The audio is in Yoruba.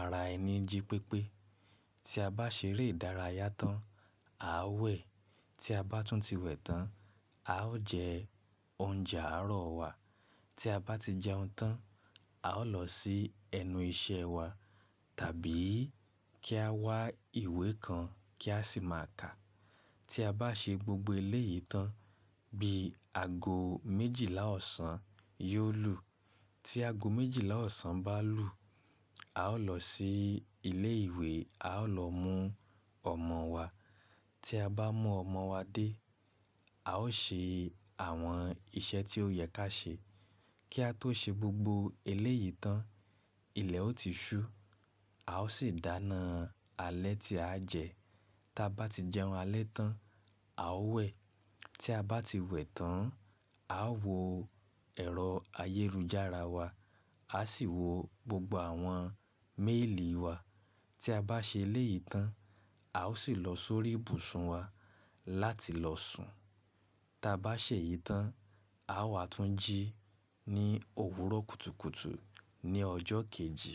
ara ẹni jí pépé. Tí a bá ṣeré ìdárayá tán, a ó wẹ̀. Tí a bá tún ti wẹ̀ tán, a ó jẹ oúnjẹ àárọ̀ wa. Tí a bá ti jẹun tán, a ó lọ sí ẹnu iṣẹ́ wa tàbí kí a wá ìwé kan kí a sì máa kà. Tí a bá ṣe gbogbo eléyìí tán, bí ago méjìlá ọ̀sán yóò lù. Tí ago méjìlá ọ̀sán bá lù, a ó lọ sí ilé ìwé, a ó lọ mú ọmọ wa. Tí a bá mú ọmọ wa dé, a ó ṣe àwọn iṣẹ́ tí ó yẹ ká ṣe. Kí a tó ṣe gbogbo eléyìí tán, ilẹ̀ ó ti ṣú, a ó sì dáná alẹ́ tí a jẹ. Tí a bá ti jẹun alẹ́ tán, a ó wẹ̀. Tí a bá ti wẹ̀ tán, a ó wo ẹ̀rọ ayélujára wa, a sì wo gbogbo àwọn méèlì wa. Tí a bá ṣe eléyìí tán, a ó sì lọ sórí ibùsùn wa láti lọ sùn. Tí a bá ṣèyí tán, àwa tún jí ní òwúrọ̀ kùtùkùtù ní ọjọ́ kejì.